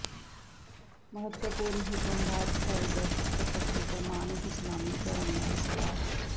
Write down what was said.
ਮਹੱਤਵਪੂਰਨ ਹੁਕਮ ਬਾਦਸ਼ਾਹ ਦੇ ਦਸਤਖਤ ਅੱਗੇ ਪ੍ਰਮਾਣਿਕ ਇਸਲਾਮੀ ਧਰਮ ਨਾਲ ਸਲਾਹ